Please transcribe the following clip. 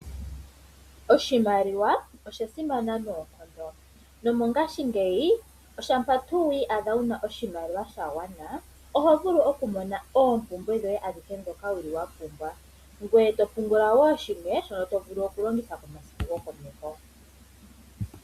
Oshimaliwa osha simana noonkondo, nomongashingeyi oshampa tuu wii adha wuna oshimaliwa sha gwana oho vulu oku mona oompumbwe dhoye adhihe ndhoka wuli wa pumbwa, ngoye eto pungula wo shimwe shono to vulu oku longitha komasiku gokomeho.